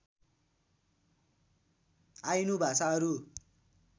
Ainu भाषाहरु